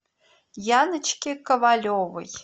яночке ковалевой